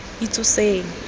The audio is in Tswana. itsoseng